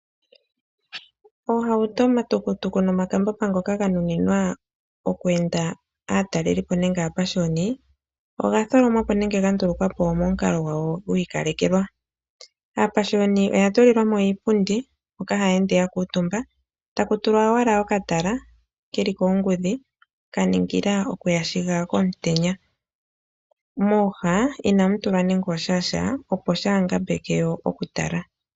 Oohauto, omatukutuku, nomakambamba ngoka ga nuninwa okweenda aatalelipo nenge aapashiyoni oga tholomwapo nenge ga ndulukwapo momukalo gwago gwiikalekelwa, aapashiyoni oya tulilwamo iipundi hoka ha yeende ya kuutumba ta kutulwa owala okatala keli koongudhi ka ningila okuyashiga komutenya, mooha ina mu tulwa nenge osha shaa opo shaa hangambeke woo okutala.